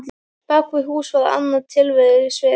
Bak við hús var annað tilverusvið.